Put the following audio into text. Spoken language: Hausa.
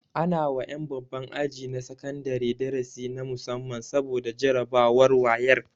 Ana wa ƴan babban aji na sakandare darasi na musamman saboda jarabawar wayek